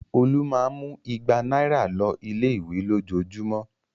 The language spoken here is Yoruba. Olú máa ń mú igba náírà lọ ilé-ìwé lójoojúmọ́.